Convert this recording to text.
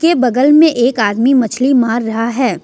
ये बगल में एक आदमी मछली मार रहा है।